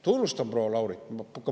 Tunnustan proua Laurit.